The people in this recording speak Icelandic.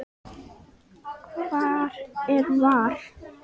Hvar er VAR?